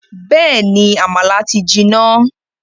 Bẹ́ẹ̀ni, àmàlà ti jiná